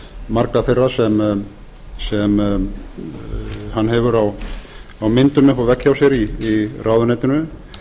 margra þeirra sem hann hefur á myndum uppi á vegg hjá sér í ráðuneytinu